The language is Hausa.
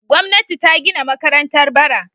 Gwamnati ta gina makarantar bara.